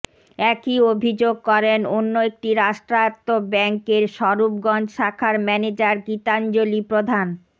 একই অভিযোগ করেন অন্য একটি রাষ্ট্রায়ত্ত ব্যাংকের স্বরূপগঞ্জ শাখার ম্যানেজার গীতাঞ্জলি প্রধান